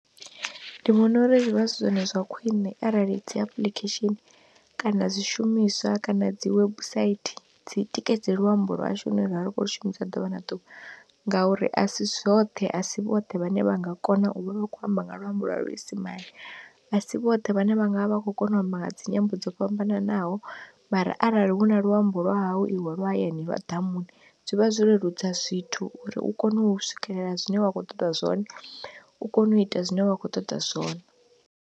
Ndi vhona uri zwi vha zwi zwone zwa khwine arali dzi apuḽikhesheni, kana zwishumiswa, kana dzi webusaithi dzi tikedze luambo lwashu hune ravha ri khou shumisa ḓuvha na ḓuvha ngauri a si zwoṱhe asi vhoṱhe vhane vha nga kona u vha vha khou amba nga luambo lwa luisimane, asi vhoṱhe vhane vha nga vha vha kho kona u amba nga dzi nyambo dzo fhambananaho, mara arali huna luambo lwa hau iwe lwa hayani lwa ḓamuni, zwivha zwo leludza zwithu uri u kone u swikelela zwine wa khou ṱoḓa zwone, u kone u ita zwine wa khou ṱoḓa zwone.